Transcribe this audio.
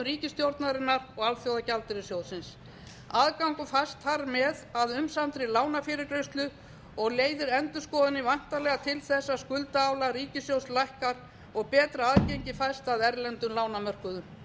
ríkisstjórnarinnar og alþjóðagjaldeyrissjóðsins aðgangur fæst þar með að umsaminni lánafyrirgreiðslu og leiðir endurskoðunin væntanlega til þess að skuldaálag ríkissjóðs lækkar og betra aðgengi fæst að erlendum lánamörkuðum